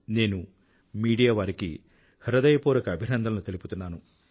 నేను మీడియా వారికి హృదయపూర్వక అభినందనలు తెలుపుతున్నాను